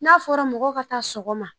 N'a fɔra mɔgɔw ka taa sɔgɔma